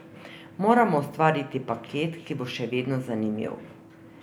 Moramo ustvariti paket, ki bo še vedno zanimiv.